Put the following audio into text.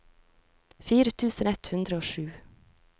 fire tusen ett hundre og sju